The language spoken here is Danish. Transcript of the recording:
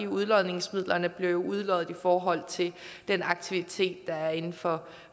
udlodningsmidlerne bliver jo udloddet i forhold til den aktivitet der er inden for